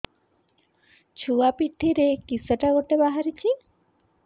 ଛୁଆ ପିଠିରେ କିଶଟା ଗୋଟେ ବାହାରିଛି